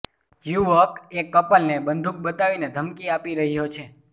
યુવક એક કપલને બંદુક બતાવીને ધમકી આપી રહ્યો છે